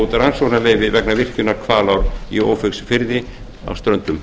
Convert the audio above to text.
út rannsóknarleyfi vegna virkjunar hvalár í ófeigsfirði á ströndum